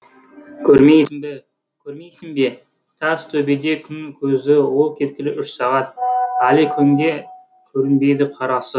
көрмейсің бе көрмейсің бе тас төбеде күн көзі ол кеткелі үш сағат әлі күнге көрінбейді қарасы